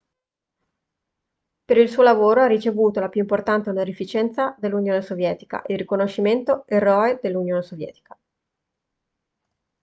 per il suo lavoro ha ricevuto la più importante onorificenza dell'unione sovietica il riconoscimento eroe dell'unione sovietica